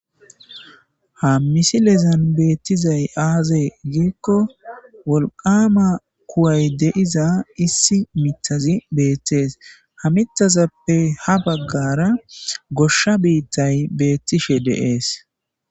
Ha misilezan beettizay aazee giikko wolqama kuway deiza issi mitazi beettees ha mitazappe ha baggara gosha biittay beettishe dees.